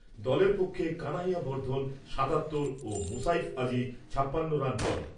দলের পক্ষে কানাইয়া বর্ধন সাতাত্তর ও মুসাইফ আজিজ ছাপ্পান্ন রান করে।